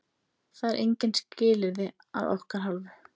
Það eru engin skilyrði að okkar hálfu.